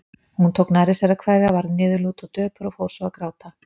Hún tók nærri sér að kveðja, varð niðurlút og döpur og fór svo að gráta.